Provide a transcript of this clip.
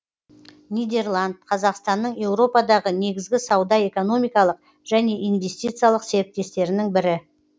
нидерланд қазақстанның еуропадағы негізгі сауда экономикалық және инвестициялық серіктестерінің бірі